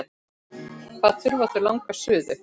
Hvað þurfa þau langa suðu?